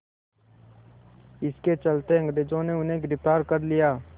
इसके चलते अंग्रेज़ों ने उन्हें गिरफ़्तार कर लिया